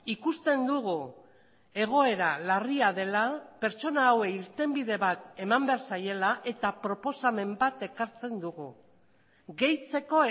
ikusten dugu egoera larria dela pertsona hauei irtenbide bat eman behar zaiela eta proposamen bat ekartzen dugu gehitzeko